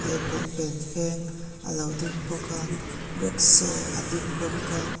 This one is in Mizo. leh pawnfen feng alo ding bawk a riksaw a ding bawk a.